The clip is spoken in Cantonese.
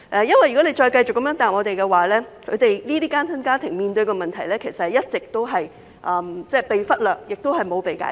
如果政府繼續這樣答覆我們，這些單親家庭面對的問題其實一直被忽略，亦未能解決。